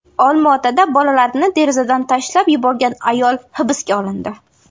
Olmaotada bolalarini derazadan tashlab yuborgan ayol hibsga olindi.